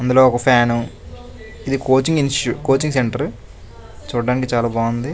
అందులో ఒక ఫ్యాను . ఇది కోచింగ్ ఇన్స్టిట్యూట్ కోచింగ్ సెంటర్ చూడడానికి చాలా బాగుంది.